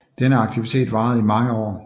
Denne aktivitet varede i mange år